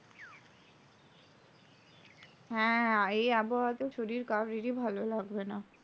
হ্যাঁ, এই আবহাওয়াতেও শরীর কারোরই ভালো লাগবে না।